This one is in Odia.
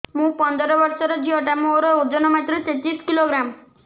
ମୁ ପନ୍ଦର ବର୍ଷ ର ଝିଅ ଟା ମୋର ଓଜନ ମାତ୍ର ତେତିଶ କିଲୋଗ୍ରାମ